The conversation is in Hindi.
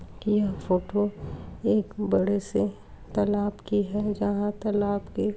यह फ़ोटो एक बड़े से तलाब की है जहाँ तलाब के --